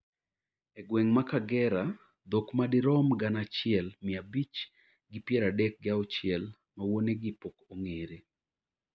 e gweng' ma Kagera dhok ma dirom gana achiel mia abich gi piero adek gi auchiel ma wuonegi pok ong'ere